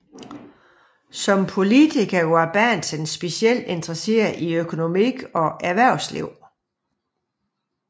Som politiker var Bahnsen specielt interesseret i økonomi og erhvervsliv